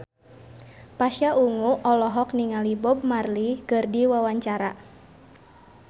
Pasha Ungu olohok ningali Bob Marley keur diwawancara